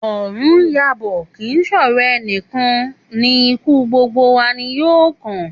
Òrun n yabò, kì í sòrò enìkan ni ikú, gbogbo wa ni yóò kàn